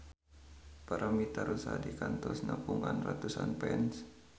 Paramitha Rusady kantos nepungan ratusan fans